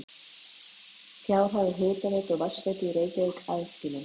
Fjárhagur hitaveitu og vatnsveitu í Reykjavík aðskilinn.